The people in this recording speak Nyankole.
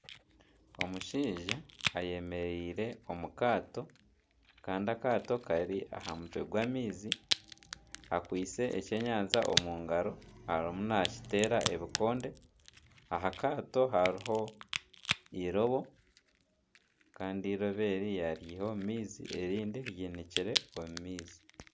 Omushaija ayemereire omu kaato kandi akaato kari aha mutwe gw'amaizi akwaitse ekyenyanja omu ngaro arimu nakiteera ebikonde, aha kaato hariho eirobo kandi eirobo eri yaryiha omu maizi erindi ryinikire omu maizi.